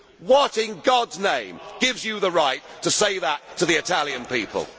What, in God's name, gives you the right to say that to the Italian people?